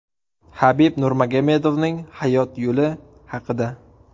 Habib Nurmagomedovning hayot yo‘li haqida.